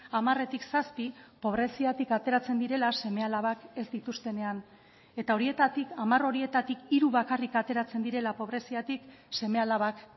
hamaretik zazpi pobreziatik ateratzen direla seme alabak ez dituztenean eta horietatik hamar horietatik hiru bakarrik ateratzen direla pobreziatik seme alabak